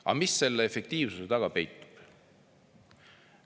Aga mis selle efektiivsuse taga peitub?